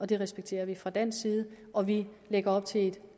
det respekterer vi fra dansk side og vi lægger op til et